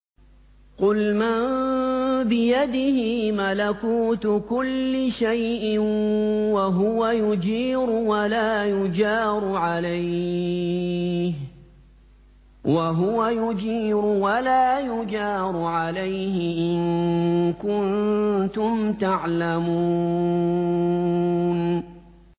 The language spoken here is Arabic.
قُلْ مَن بِيَدِهِ مَلَكُوتُ كُلِّ شَيْءٍ وَهُوَ يُجِيرُ وَلَا يُجَارُ عَلَيْهِ إِن كُنتُمْ تَعْلَمُونَ